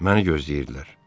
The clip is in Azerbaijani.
Məni gözləyirdilər.